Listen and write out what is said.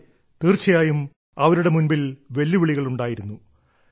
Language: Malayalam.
അതെ തീർച്ചയായും അവരുടെ മുൻപിൽ വെല്ലുവിളികൾ ഉണ്ടായിരുന്നു